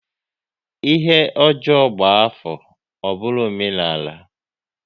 Ihe ọjọọ gba afọ, ọ bụrụ omenala